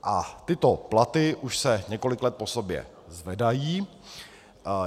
A tyto platy už se několik let po sobě zvedají.